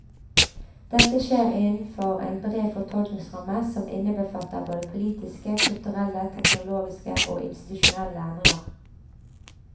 Dette skjer innenfor en bred fortolkningsramme som innebefatter både politiske, kulturelle, teknologiske og institusjonelle endringer.